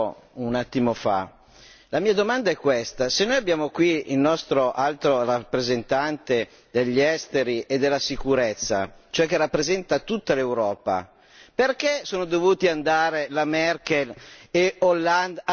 La mia domanda è questa se noi abbiamo qui il nostro Alto rappresentante degli esteri e della sicurezza, cioè che rappresenta tutta l'Europa, perché sono dovuti andare la Merkel e Hollande a rappresentare tutta l'Europa?